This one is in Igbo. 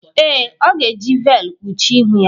Ee, ọ ga-eji veelụ kpuchie ihu ya.